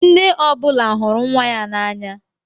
Nne ọ bụla hụrụ nwa ya n'anya.